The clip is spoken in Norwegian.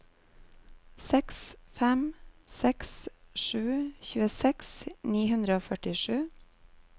seks fem seks sju tjueseks ni hundre og førtisju